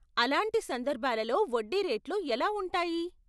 అలాంటి సందర్భాలలో వడ్డీ రేట్లు ఎలా ఉంటాయి?